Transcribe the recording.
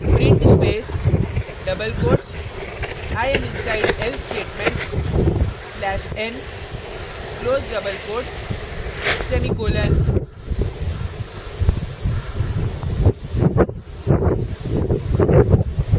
print space double quotes i am inside else statement slash n close double quotes semicolon